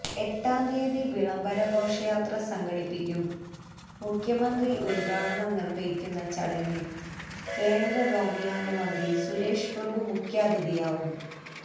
എട്ടാം തീയ്യതി വിളംബര ഘോഷയാത്ര സംഘടിപ്പിക്കും മുഖ്യമന്ത്രി ഉദ്ഘാടനം നിര്വ്വഹിക്കുന്ന ചടങ്ങില് കേന്ദ്ര വ്യോമയാന മന്ത്രി സുരേഷ് പ്രഭു മുഖ്യാതിഥിയാവും